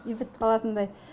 үй бітіп қалатындай